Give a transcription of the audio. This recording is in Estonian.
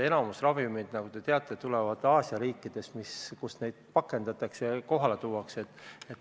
Enamik ravimeid, nagu te teate, tuleb Aasia riikidest, kus neid pakendatakse ja teele saadetakse.